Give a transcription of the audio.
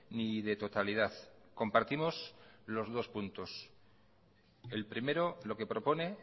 ni de totalidad compartimos los dos puntos el primero lo que propone